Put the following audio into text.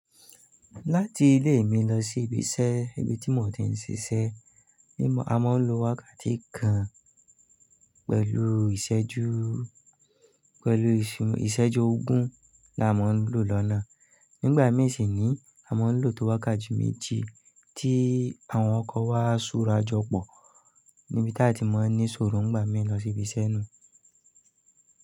Láti ilé mi lọ sí ibi iṣẹ́, ibi tí mo ti ń ṣiṣẹ́, a máa ń lo wákàtí kan pẹ̀lú ìṣẹ́jú, pẹ̀lú ìṣẹ́jú ogún la máa ń lò lọ́nà. Nígbà mii si ni a máa ń lò tó wákàtí méji tí àwọn ọkọ̀ wá súra jọ pọ̀ níbi tí a ti máa ń ní sòrò ńgbàmi lọ sí ibi iṣẹ́ nu-un.